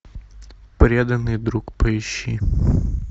преданный друг поищи